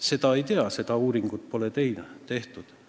Seda ei tea, seda uuringut pole tehtud.